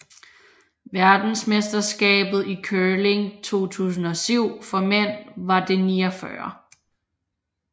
Verdensmesterskabet i curling 2007 for mænd var det 49